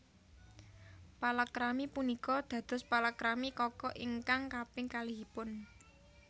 Palakrami punika dados palakrami Kaka ingkang kaping kalihipun